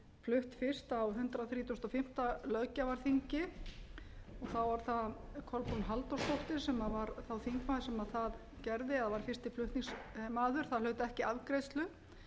flutt fyrst á hundrað þrítugasta og fimmta löggjafarþingi þá var það kolbrún halldórsdóttir sem var þá þingmaður sem það gerði eða var fyrsti flutningsmaður það hlaut ekki afgreiðslu